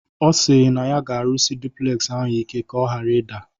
Ọ sịrị na ya ga-arụsị duplegzi ahụ ike ka ọ ghara ịda